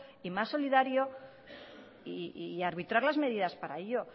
y más solidario y arbitrar las medidas para ello